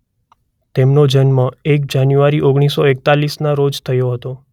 તેમનો જન્મ એક જાન્યુઆરી ઓગણીસ સો એકતાલીસના રોજ થયો હતો.